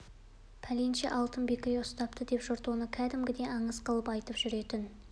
пәленше алтын бекіре ұстапты деп жұрт оны кәдімгідей аңыз қылып айтып жүретін